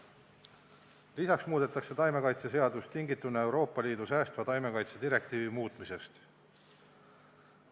Lisaks muudetakse taimekaitseseadust tingituna Euroopa Liidu säästva taimekaitse direktiivi muutmisest.